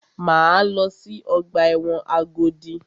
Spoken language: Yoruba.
Máa lọ sí ọgbà ẹ̀wọ̀n Agodi.